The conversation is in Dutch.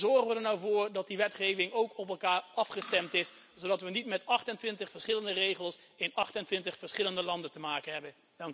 Hoe zorgen we er nou voor dat die wetgeving ook op elkaar afgestemd is, zodat we niet met 28 verschillende regels in 28 verschillende landen te maken hebben?